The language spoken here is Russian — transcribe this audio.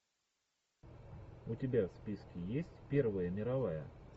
у тебя в списке есть первая мировая